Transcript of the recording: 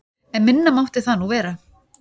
En minna mátti það nú vera.